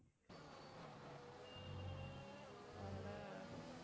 அதுல